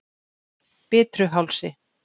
Bitruhálsi